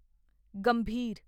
ਗੰਭੀਰ